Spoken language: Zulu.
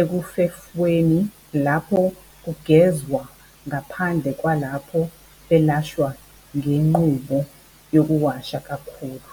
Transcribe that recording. ekufefweni lapho kugezwa ngaphandle kwalapho belashwa ngenqubo yokuwasha kakhulu.